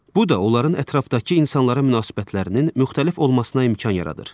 Bu da onların ətrafdakı insanlara münasibətlərinin müxtəlif olmasına imkan yaradır.